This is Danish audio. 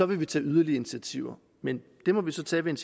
vil vi tage yderligere initiativer men det må vi så tage ved en